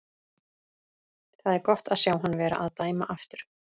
Það er gott að sjá hann vera að dæma aftur.